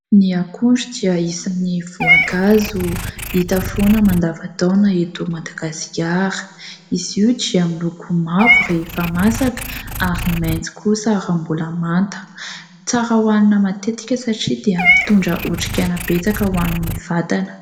Ny akondro dia isan'ny voankazo hita foana mandavan-taona eto Madagasikara. Izy io dia miloko mavo rehefa masaka ary maitso kosa raha mbola manta. Tsara ho hanina matetika satria dia mitondra otrikaina betsaka ho an'ny vatana.